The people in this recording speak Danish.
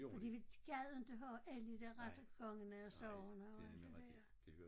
Fordi de de gad inte have alle de dér rettergangene og so on og alt det dér